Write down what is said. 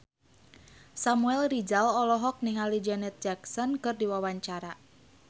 Samuel Rizal olohok ningali Janet Jackson keur diwawancara